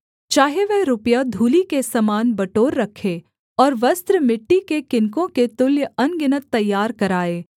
चाहे वह रुपया धूलि के समान बटोर रखे और वस्त्र मिट्टी के किनकों के तुल्य अनगिनत तैयार कराए